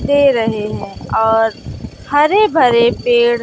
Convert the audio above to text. दे रहे हैं और हरे भरे पेड़--